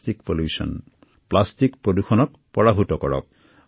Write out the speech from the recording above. এই বছৰৰ মূল বিষয় হল প্লাষ্টিক প্ৰদূষণ নাশ কৰা